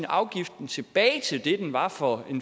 afgiften tilbage til det den var for